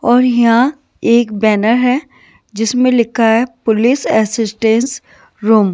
और यहाँ एक बैनर है जिसमें लिखा है पुलिस असिस्टेंस रूम --